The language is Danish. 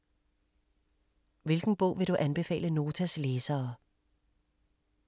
Hvilken bog vil du anbefale Notas læsere?